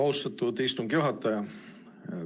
Austatud istungi juhataja!